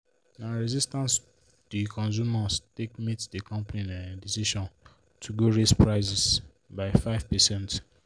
na resistance the consumers take meet the company um decision to go raise prices by 5%.